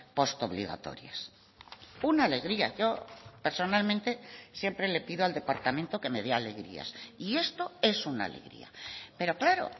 post obligatorias una alegría yo personalmente siempre le pido al departamento que me dé alegrías y esto es una alegría pero claro